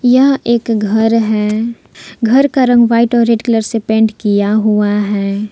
यह एक घर है घर का रंग व्हाइट और रेड कलर से पेंट किया हुआ है।